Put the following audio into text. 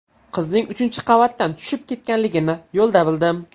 Qizning uchinchi qavatdan tushib ketganligini yo‘lda bildim.